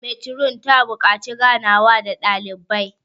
metron ta buƙaci ganawa da dalibai